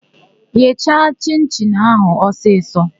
Gheecha chịn-chịn áhụ̀ ọsisọ!